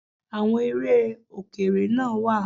Àwọn eré Òkèrè náà wá